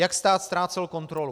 Jak stát ztrácel kontrolu?